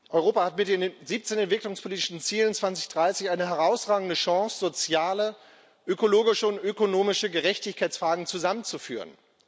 Europa hat mit den 17 entwicklungspolitischen Zielen 2030 ist eine herausragende Chance, soziale, ökologische und ökonomische Gerechtigkeitsfragen zusammenzuführen.